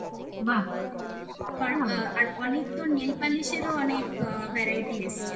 আর অনেক তো nailpolish ও অনেক variety এসছে